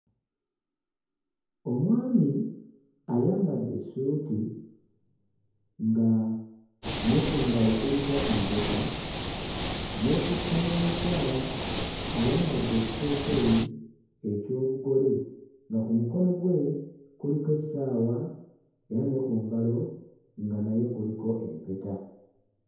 Omwami ayambadde essuuti nga ne ku ngalo kuliko empeta, yeekutte n'omukyala ayambadde ekiteeteeyi eky'obugole nga ku mukono gwe kuliko essaawa, era ne ku ngalo nga naye kuliko empeta.